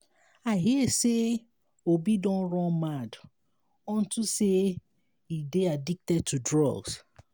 i hear say obi don run mad unto say he dey addicted to drugs